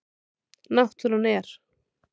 Náttúran er.